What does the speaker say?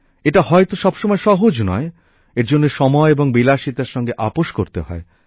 এটা হয়তো সবসময় সহজ নয় এর জন্য সময় এবং বিলাসিতার সঙ্গে আপস করতে হয়